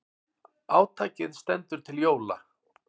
Átakið stendur til jóla.